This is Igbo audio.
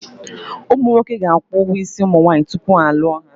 Ụmụ nwoke ga-akwụ ụgwọ isi ụmụ nwaanyị tupu ha alụọ ha.